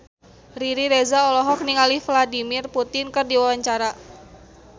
Riri Reza olohok ningali Vladimir Putin keur diwawancara